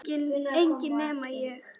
Enginn nema ég